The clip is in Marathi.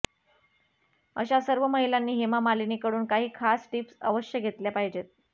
अशा सर्व महिलांनी हेमा मालिनी कडून काही खास टिप्स अवश्य घेतल्या पाहिजेत